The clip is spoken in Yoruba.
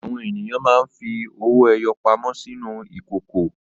Àwọn ènìyàn máa ń fi owó-ẹyọ pamọ́ sínú ìkókó.